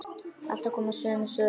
Alltaf komu sömu svör.